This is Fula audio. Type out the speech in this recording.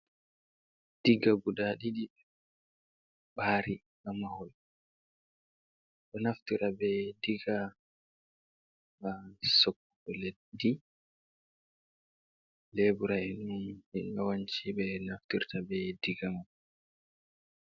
Digga guda ɗiɗi ɓari ha mahol, ɓe a naftira be digga ha soppugo leddi. Lebura enni ɓe yawanci ɓe naftirta be digga man.